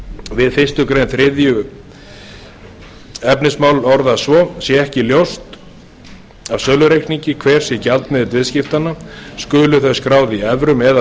við fyrstu grein þriðja efnismálsl orðist svo sé ekki ljóst af sölureikningi hver sé gjaldmiðill viðskiptanna skulu þau skráð í evrum eða